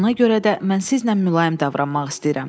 Ona görə də mən sizlə mülayim davranmaq istəyirəm.